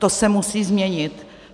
To se musí změnit.